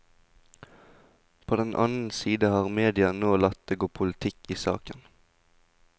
På den annen side har media nå latt det gå politikk i saken.